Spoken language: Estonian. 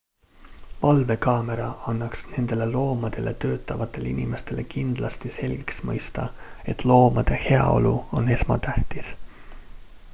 """valvekaamera annaks nendele loomadega töötavatele inimestele kindlasti selgelt mõista et loomade heaolu on esmatähtis.""